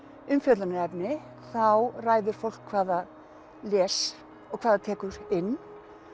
umfjöllunarefni þá ræður fólk hvað það les og hvað það tekur inn